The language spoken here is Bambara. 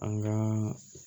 An ka